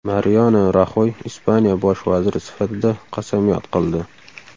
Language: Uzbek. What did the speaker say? Mariano Raxoy Ispaniya bosh vaziri sifatida qasamyod qildi.